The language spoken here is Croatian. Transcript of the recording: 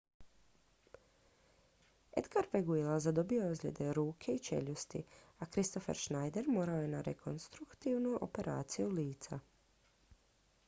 edgar veguilla zadobio je ozljede ruke i čeljusti a kristoffer schneider morao je na rekonstruktivnu operaciju lica